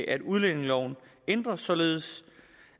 at udlændingeloven ændres således